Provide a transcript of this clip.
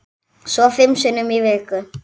Svo fimm sinnum í viku.